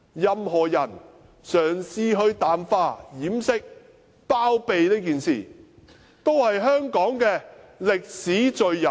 任何人嘗試淡化、掩飾、包庇這件事，也是香港的歷史罪人。